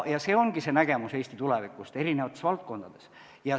See ongi see nägemus Eesti tulevikust eri valdkondades.